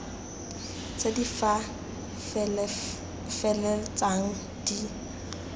tse di ka feleltsang di